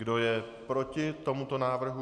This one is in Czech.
Kdo je proti tomuto návrhu?